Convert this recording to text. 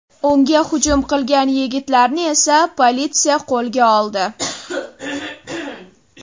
Unga hujum qilgan yigitlarni esa politsiya qo‘lga oldi.